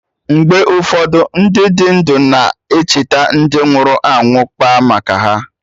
Mgbe ụfọdụ, Ndị dị ndụ na-echeta ndị nwụrụ anwụ, kpaa maka ha